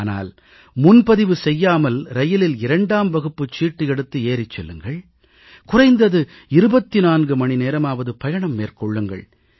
ஆனால் முன்பதிவு செய்யாமல் ரயிலில் 2ஆம் வகுப்புச் சீட்டு எடுத்து ஏறிச் செல்லுங்கள் குறைந்தது 24 மணி நேரமாவது பயணம் மேற்கொள்ளுங்கள்